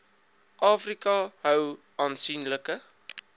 afrika hou aansienlike